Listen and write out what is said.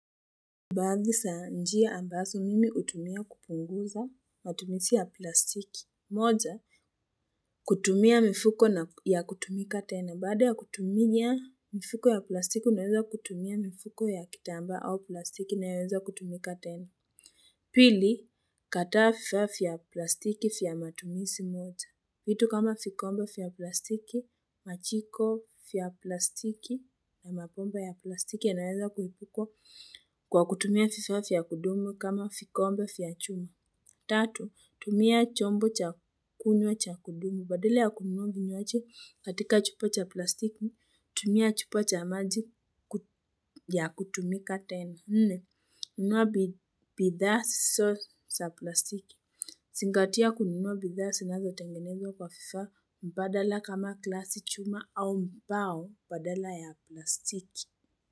Baazi sa njia ambaso mimi hutumia kupunguza matumisi ya plastiki. Moja, kutumia mifuko ya kutumika tena. Baada ya kutumia mifuko ya plastiki, unaweza kutumia mifuko ya kitambaa au plastiki inayoweza kutumika tena. Pili, kataa fifaa fya plastiki fya matumisi moja. Vitu kama fikomba fya plastiki, machiko fya plastiki, ya mapomba ya plastiki yanaweza kuhipukwa kwa kutumia fifa fya kudumu kama fikombae fya chuma. Tatu, tumia chombo cha kunywa cha kudumu. Badile ya kununa vinywaji katika chupa cha plastiki, tumia chupa cha maji ya kutumika tena. Nne, nunua bidhaa sisiso sa plastiki. Singatia kununua bidhaa sinazo tengenezwa kwa fifaa mbadala kama glasi, chuma au mbao, badala ya plastiki.